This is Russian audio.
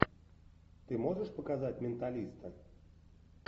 ты можешь показать менталиста